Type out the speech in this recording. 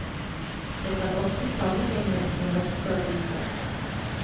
Det kan også sammenlignes med norske aviser.